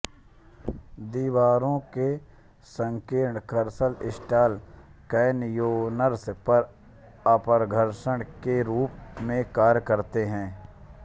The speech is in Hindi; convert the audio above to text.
दीवारों के संकीर्ण कर्कर स्लॉट कैनयोनर्स पर अपघर्षक के रूप में कार्य करते हैं